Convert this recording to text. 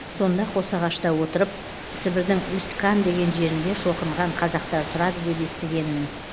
сонда қосағашта отырып сібірдің усть кан деген жерінде шоқынған қазақтар тұрады деп естігенмін